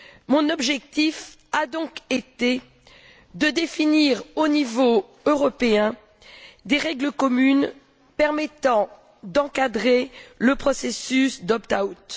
Mon objectif a donc été de définir, au niveau européen, des règles communes permettant d'encadrer le processus d' opt out